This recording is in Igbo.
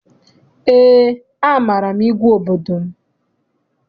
Eé, amaara m igwe obodo m.